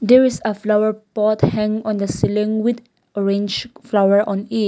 there is a flower pot hang on the ceiling with orange flower on it.